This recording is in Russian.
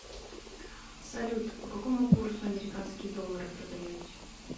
салют по какому курсу американские доллары продаете